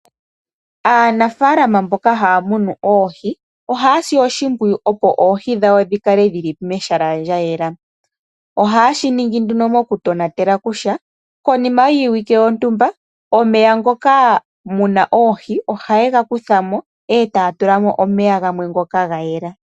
Aanafaalama mboka haa munu oohi ohaasi oshimpuyu opo oohi dhawo dhi kale dhili mehala lyayela. Ohaa shi ningi nduno mokutonatela kutya konima yiiwike yontumba omeya ngoka muna oohi ohaye ga kutha mo, etaya tulamo omeya gamwe ngoka gayela.